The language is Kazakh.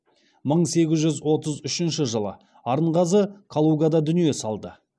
мың сегіз жүз отыз үшінші жылы арынғазы калугада дүние салды